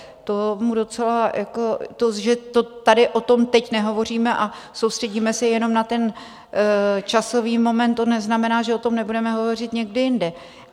To, že tady o tom teď nehovoříme a soustředíme se jenom na ten časový moment, to neznamená, že o tom nebudeme hovořit někdy jindy.